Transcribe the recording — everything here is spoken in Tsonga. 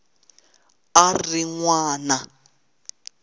a a ri n wana